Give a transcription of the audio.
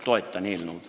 Toetan eelnõu.